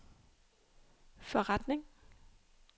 forretning